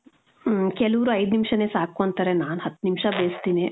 ಹ್ಮ್, ಕೆಲವ್ರು ಐದು ನಿಮಿಷನೆ ಸಾಕು ಅಂತಾರೆ. ನಾನು ಹತ್ತು ನಿಮಿಷ ಬೇಸ್ತಿನಿ.